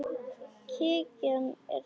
Kirkjan er tóm.